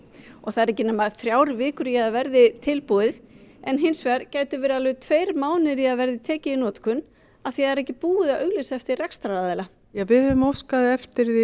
það eru ekki nema þrjár vikur í að það verði tilbúið en hins vegar gætu verið tveir mánuðir í að það verði tekið í notkun af því að það er ekki búið að auglýsa eftir rekstraraðila við höfum óskað eftir